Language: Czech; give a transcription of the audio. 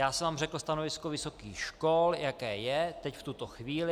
Já jsem vám řekl stanovisko vysokých škol, jaké je teď, v tuto chvíli.